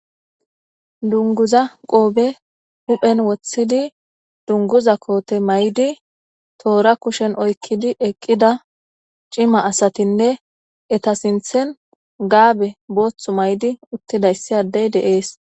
Dunguza qoobe huphen woththidi dunguza koote may7di toora kushen oykkidi eqqida cima asatinne eta sinthen gaabe booththu maydi uttidayssi addey deees.